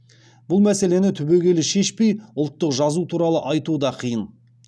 бұл мәселені түбегейлі шешпей ұлттық жазу туралы айту да қиын